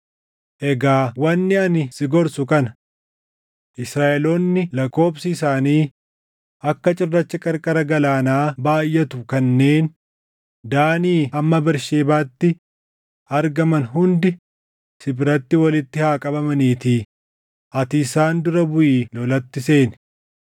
“Egaa wanni ani si gorsu kana: Israaʼeloonni lakkoobsi isaanii akka cirracha qarqara galaanaa baayʼatu kanneen Daanii hamma Bersheebaatti argaman hundi si biratti walitti haa qabamaniitii ati isaan dura buʼii lolatti seeni.